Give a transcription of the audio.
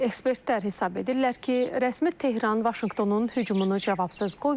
Ekspertlər hesab edirlər ki, rəsmi Tehran Vaşinqtonun hücumunu cavabsız qoymayacaq.